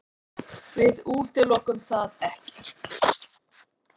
Við útilokum það ekkert.